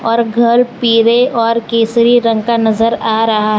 और घर पीले और केसरी रंग का नजर आ रहा है।